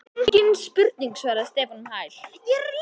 Engin spurning svaraði Stefán um hæl.